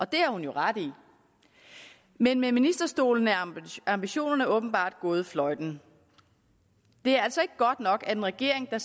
det har hun jo ret i men med ministerstolen er ambitionerne åbenbart gået fløjten det er altså ikke godt nok at en regering der